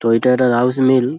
তো এইটা একটা রাইস মিল ।